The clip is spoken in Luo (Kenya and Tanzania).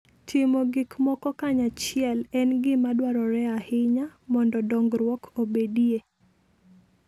Timo gik moko kanyachiel en gima dwarore ahinya mondo dongruok obedie.